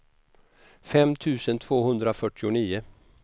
fem tusen tvåhundrafyrtionio